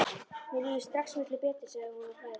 Mér líður strax miklu betur, segir hún og hlær.